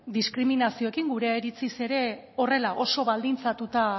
diskriminazioekin gure iritziz ere horrela